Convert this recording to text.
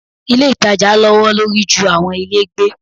Ilé ìtajà lọ́'wọ́ lórí ju àwọn ilé gbé.